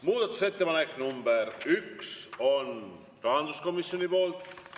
Muudatusettepanek nr 1 on rahanduskomisjonilt.